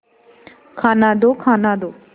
खाना दो खाना दो